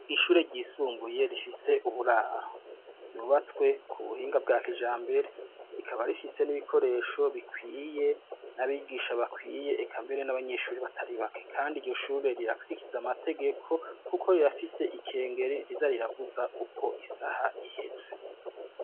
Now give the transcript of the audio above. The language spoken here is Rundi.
Ishure ryisumbuye rifise uburabo, ryubatswe ku buhinga bwa kijambere rikaba rifise n'ibikoresho bikwiye n'abigisha bakwiye, eka mbere n'abanyeshuri batari bake. Kandi iryo shure rirakurikiza amategeko kuko rirafise ikengeri riza riravuza uko isaha iheze.